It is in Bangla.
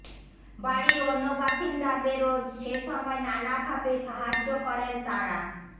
বাড়ির অন্য বাসিন্দাদেরও সেসময় নানা ভাবে সাহায্য করেন তাঁরা